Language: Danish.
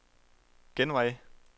genvej